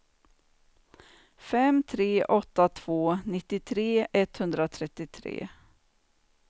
fem tre åtta två nittiotre etthundratrettiotre